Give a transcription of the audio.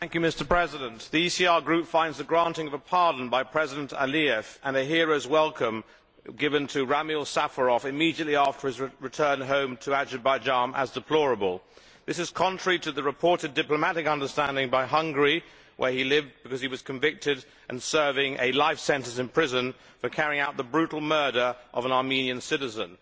Mr President, the ECR Group regards the granting of a pardon by President Aliyev, and the hero's welcome given to Ramil Safarov immediately after his return home to Azerbaijan, as deplorable. This is contrary to the reported diplomatic understanding by Hungary, where he lived because he was convicted and serving a life sentence in prison for carrying out the brutal murder of an Armenian citizen.